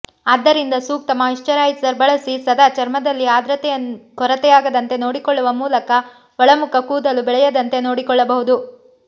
ಆದ್ದರಿಂದ ಸೂಕ್ತ ಮಾಯಿಶ್ಚರೈಸರ್ ಬಳಸಿ ಸದಾ ಚರ್ಮದಲ್ಲಿ ಆರ್ದ್ರತೆಯ ಕೊರತೆಯಾಗದಂತೆ ನೋಡಿಕೊಳ್ಳುವ ಮೂಲಕ ಒಳಮುಖ ಕೂದಲು ಬೆಳೆಯದಂತೆ ನೋಡಿಕೊಳ್ಳಬಹುದು